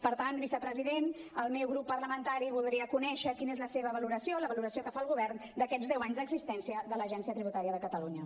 per tant vicepresident el meu grup parlamentari voldria conèixer quina és la seva valoració la valoració que fa el govern d’aquests deu anys d’existència de l’agència tributària de catalunya